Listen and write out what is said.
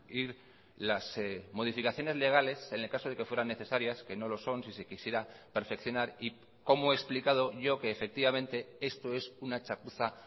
ir las modificaciones legales en el caso de que fueran necesarias que no lo son si se quisiera perfeccionar y como he explicado yo que efectivamente esto es una chapuza